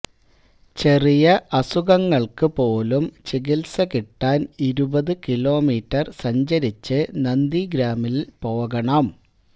ചെറിയ അസുഖങ്ങള്ക്ക് പോലും ചികിത്സ കിട്ടാന് ഇരുപത് കിലോമീറ്റര് സഞ്ചരിച്ച് നന്ദിഗ്രാമില് പോകണം